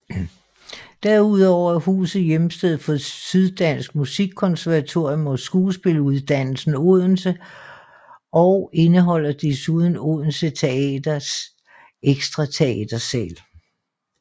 Derudover er huset hjemsted for Syddansk Musikkonservatorium og Skuespiluddannelsen Odense og indeholder desuden Odense Teaters ekstra teatersal